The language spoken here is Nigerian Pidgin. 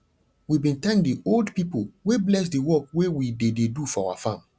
we bin thank the old pipo wey bless the work wey we dey dey do for our farm